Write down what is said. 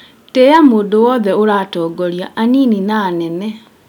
Tĩya mũndũ wothe ũratongoria anini na anene